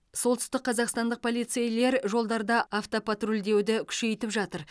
солтүстік қазақстандық полицейлер жолдарда автопатрульдеуді күшейтіп жатыр